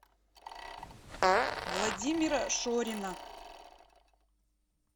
владимира шорина